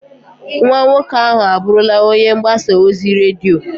Nwa nwoke ahụ abụrụla onye mgbasa ozi redio.